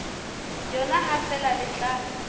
yona ha feela le tla